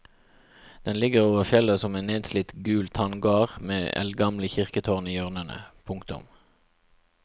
Den ligger over fjellet som en nedslitt gul tanngard med eldgamle kirketårn i hjørnene. punktum